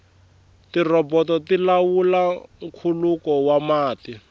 tirhoboto ti lawula nkhuluko wa mati